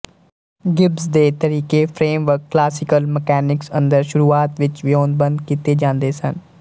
Gibbs ਦੇ ਤਰੀਕੇ framework classical mechanics ਅੰਦਰ ਸ਼ੁਰੂਆਤ ਵਿੱਚ ਵਿਓਂਤਬੰਦ ਕੀਤੇ ਜਾਂਦੇ ਸਨ